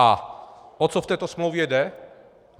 A o co v této smlouvě jde?